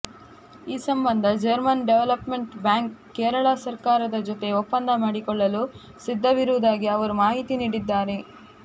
ಈ ಸಂಬಂಧ German development bank Kerala ಸರ್ಕಾರದ ಜೊತೆ ಒಪ್ಪಂದ ಮಾಡಿಕೊಳ್ಳಲು ಸಿದ್ಧವಿರುವುದಾಗಿ ಅವರು ಮಾಹಿತಿ ನೀಡಿದ್ದಾರೆ